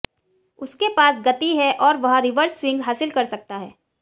उसके पास गति है और वह रिवर्स स्विंग हासिल कर सकता है